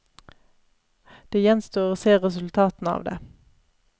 Det gjenstår å se resultatene av det.